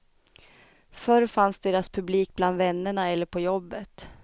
Förr fanns deras publik bland vännerna eller på jobbet.